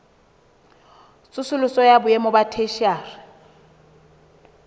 tsosoloso ya boemo ba theshiari